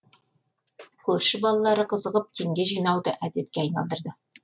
көрші балалары қызығып теңге жинауды әдетке айналдырды